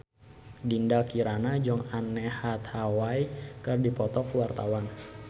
Dinda Kirana jeung Anne Hathaway keur dipoto ku wartawan